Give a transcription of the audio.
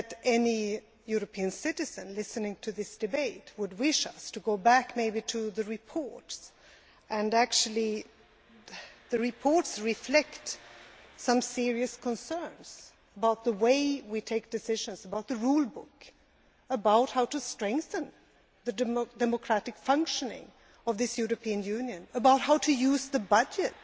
Any European citizen listening to this debate would wish us to go back to these reports, which actually reflect some serious concerns about the way we take decisions, about the rule book, about how to strengthen the democratic functioning of this European Union, and about how to use the budget